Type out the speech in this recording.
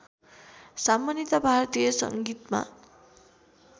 सामान्यतया भारतीय सङ्गीतमा